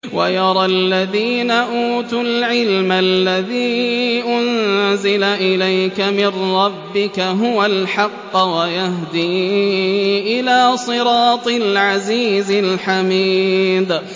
وَيَرَى الَّذِينَ أُوتُوا الْعِلْمَ الَّذِي أُنزِلَ إِلَيْكَ مِن رَّبِّكَ هُوَ الْحَقَّ وَيَهْدِي إِلَىٰ صِرَاطِ الْعَزِيزِ الْحَمِيدِ